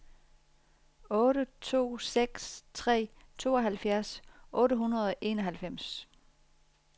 otte to seks tre tooghalvfjerds otte hundrede og enoghalvfems